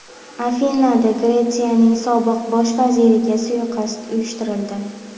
Afinada Gretsiyaning sobiq bosh vaziriga suiqasd uyushtirildi.